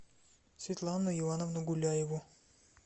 светлану ивановну гуляеву